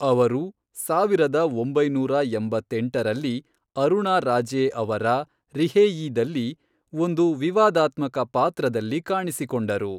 ಅವರು, ಸಾವಿರದ ಒಂಬೈನೂರ ಎಂಬತ್ತೆಂಟರಲ್ಲಿ, ಅರುಣಾ ರಾಜೆ ಅವರ ರಿಹೇಯೀದಲ್ಲಿ ಒಂದು ವಿವಾದಾತ್ಮಕ ಪಾತ್ರದಲ್ಲಿ ಕಾಣಿಸಿಕೊಂಡರು.